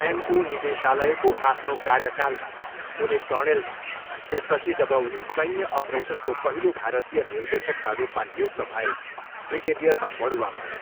MO निदेशालयको आफ्नो कार्यकालमा, उनी कर्णेलमा, त्यसपछि जब उनी सैन्य अपरेसनको पहिलो भारतीय निर्देशकका रूपमा नियुक्त भए, ब्रिगेडियरमा बढुवा भए।